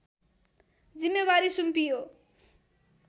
जिम्मेवारी सुम्पियो